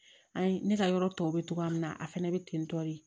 An ye ne ka yɔrɔ tɔw bɛ cogoya min na a fɛnɛ bɛ ten tɔ de